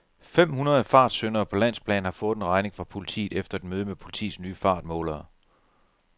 Fem hundrede fartsyndere på landsplan har fået en regning fra politiet efter et møde med politiets nye fartmålere.